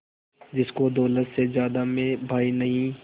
जिसको दौलत से ज्यादा मैं भाई नहीं